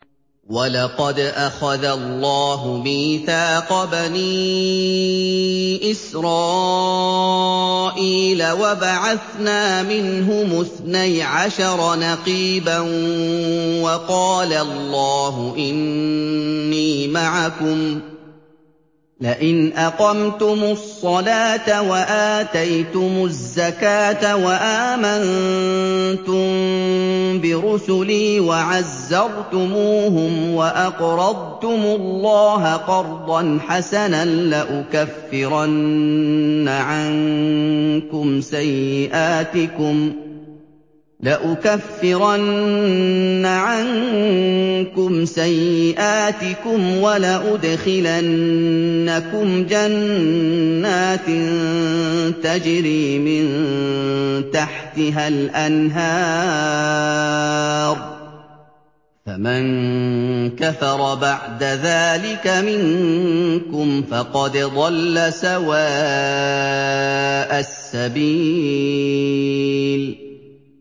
۞ وَلَقَدْ أَخَذَ اللَّهُ مِيثَاقَ بَنِي إِسْرَائِيلَ وَبَعَثْنَا مِنْهُمُ اثْنَيْ عَشَرَ نَقِيبًا ۖ وَقَالَ اللَّهُ إِنِّي مَعَكُمْ ۖ لَئِنْ أَقَمْتُمُ الصَّلَاةَ وَآتَيْتُمُ الزَّكَاةَ وَآمَنتُم بِرُسُلِي وَعَزَّرْتُمُوهُمْ وَأَقْرَضْتُمُ اللَّهَ قَرْضًا حَسَنًا لَّأُكَفِّرَنَّ عَنكُمْ سَيِّئَاتِكُمْ وَلَأُدْخِلَنَّكُمْ جَنَّاتٍ تَجْرِي مِن تَحْتِهَا الْأَنْهَارُ ۚ فَمَن كَفَرَ بَعْدَ ذَٰلِكَ مِنكُمْ فَقَدْ ضَلَّ سَوَاءَ السَّبِيلِ